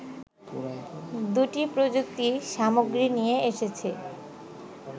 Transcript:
দুটি প্রযুক্তি সামগ্রী নিয়ে এসেছে